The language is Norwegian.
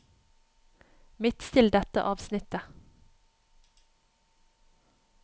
Midtstill dette avsnittet